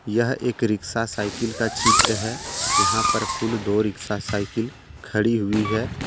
यह एक rickshaw cycle का चित्र है यहां पर कुल दो रिक्शा साइकिल खड़ी हुई है।